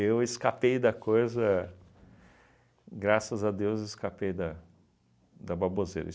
Eu escapei da coisa, graças a Deus, escapei da da baboseira.